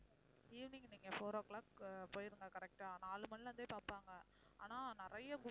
evening நீங்க four o'clock ஆஹ் போயிடுங்க correct ஆ நாலு மணியிலிருந்தே பாப்பாங்க ஆனா நிறைய